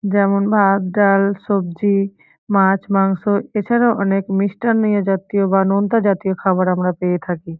যেমন ভাত ডাল সব্জি মাছ মাংস এছাড়াও অনেক মিষ্টামিয় জাতীয় বা নোনতা জাতীয় খাবার আমরা পেয়ে থাকি।